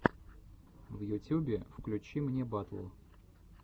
в ютюбе включи мне батл